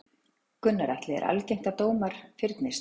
Gunnar Atli: Er algengt að dómar fyrnist?